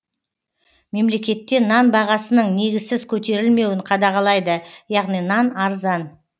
мемлекетте нан бағасының негізсіз көтерілмеуін қадағалайды яғни нан арзан